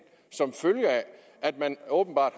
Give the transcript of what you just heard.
som følge af at man åbenbart